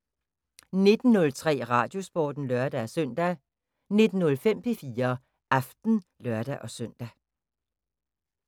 19:03: Radiosporten (lør-søn) 19:05: P4 Aften (lør-søn)